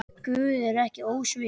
Guð er ekki ósvip